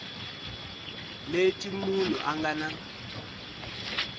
leti munhu a nga na